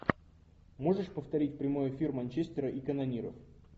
можешь повторить прямой эфир манчестера и канониров